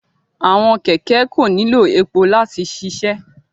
Awọn kẹkẹ ko nilo epo lati ṣiṣẹ